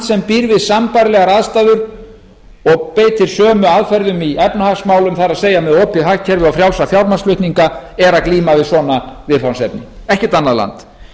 sem býr við sambærilegar aðstæður og beitir sömu aðferðum í efnahagsmálum það er með opið hagkerfi og frjálsa fjármagnsflutninga er að glíma við svona viðfangsefni ekkert annað land